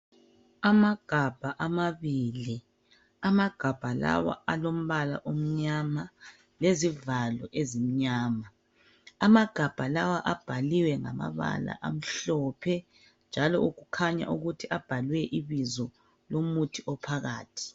Amagabha amabili. Amagabha lawa alombala omnyama lezivalo ezimnyama. Amagabha lawa abhaliwe ngamabala amhlophe njalo okukhanya ukuthi abhalwe ibizo lomuthi ophakathi.